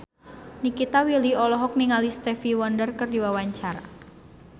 Nikita Willy olohok ningali Stevie Wonder keur diwawancara